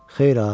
Xeyr ha.